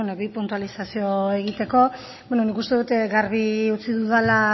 bi puntualizazio egiteko nik uste dut garbi utzi dudala